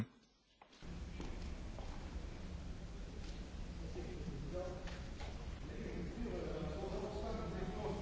plus dure sera au centre des discussions de cette conférence de Buenos Aires avec au menu la question du soutien aux agriculteurs.